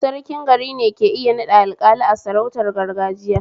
Sarkin garine ke iya naɗa Alƙali a sarautar gargajiya